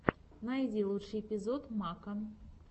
найди лучший эпизод мака